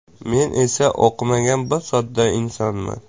Men esa o‘qimagan, bir sodda insonman.